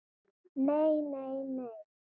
NEI, NEI, NEI.